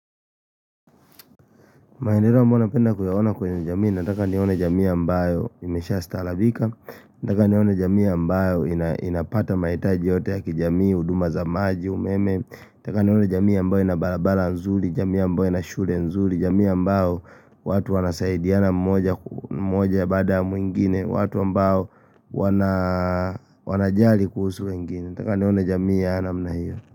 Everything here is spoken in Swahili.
Maendeleo ambayo napenda kuyaona kwenye jamii, nataka nione jamii ambayo imesha staarabika, nataka nione jamii ambayo inapata mahitaji yote ya kijamii, huduma za maji, umeme, nataka nione jamii ambayo ina barabara nzuri, jamii ambayo ina shule nzuri, jamii ambayo watu wanasaidiana mmoja ya baada mwingine, watu ambao wanajali kuhusu wengine, nataka nione jamii ya aina namna hiyo.